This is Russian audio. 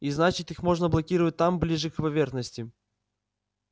и значит их можно блокировать там ближе к поверхности